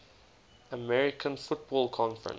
american football conference